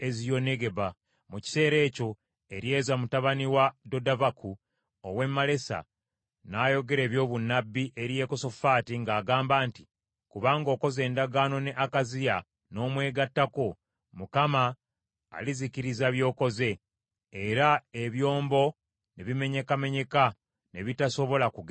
Mu kiseera ekyo Eryeza mutabani wa Dodavaku ow’e Malesa n’ayogera ebyobunnabbi eri Yekosafaati ng’agamba nti, “Kubanga okoze endagaano ne Akaziya, n’omwegattako, Mukama alizikiriza by’okoze.” Era ebyombo ne bimenyekamenyeka, ne bitasobola kugenda Talusiisi.